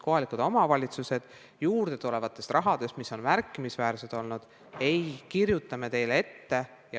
Kohalikud omavalitsused saavad raha märkimisväärselt juurde, kuid me ei kirjuta neile midagi ette.